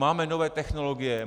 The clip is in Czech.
Máme nové technologie.